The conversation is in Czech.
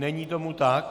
Není tomu tak.